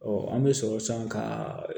an bɛ sɔrɔ san ka